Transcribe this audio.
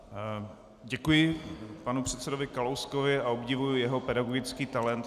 Děkuji panu předsedovi Kalouskovi a obdivuji jeho pedagogický talent.